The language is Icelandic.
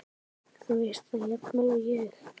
Þú veist það jafnvel og ég.